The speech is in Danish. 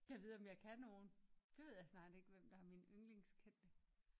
Gad vide om jeg kan nogen det ved jeg snart ikke hvem der er min ynglings kendte